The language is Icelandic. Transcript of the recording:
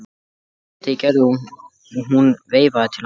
Hann sá glitta í Gerði og hún veifaði til hans.